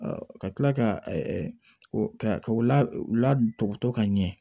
ka kila ka u ladɔkɔtɔ ka ɲɛ